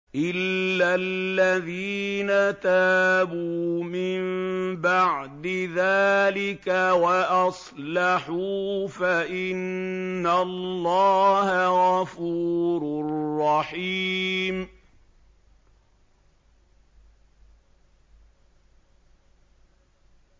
إِلَّا الَّذِينَ تَابُوا مِن بَعْدِ ذَٰلِكَ وَأَصْلَحُوا فَإِنَّ اللَّهَ غَفُورٌ رَّحِيمٌ